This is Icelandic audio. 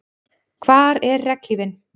Hvar er regnhlífin?